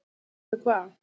En veistu hvað